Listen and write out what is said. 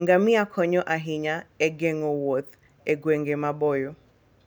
Ngamia konyo ahinya e geng'o wuoth e gwenge maboyo.